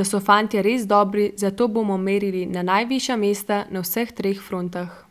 da so fantje res dobri, zato bomo merili na najvišja mesta na vseh treh frontah.